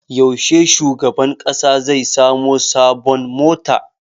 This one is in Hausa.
Yaushe shugaban ƙasa zai sami sabon mota?